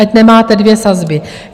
Ať nemáte dvě sazby.